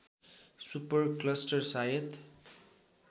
super cluster सायद